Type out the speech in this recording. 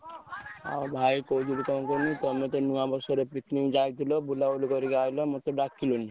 ଆଉ ଭାଇ କହୁଥିଲି କଣ କୁହନି ତମେ ତ ନୂଆବର୍ଷ ରେ picnic ଯାଇଥିଲେ ବୁଲାବୁଲି କରିକି ଆଇଲେ ମତେ ଡାକିଲନି।